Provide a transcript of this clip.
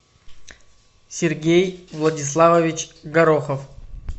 сергей владиславович горохов